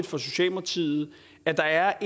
for socialdemokratiet at der er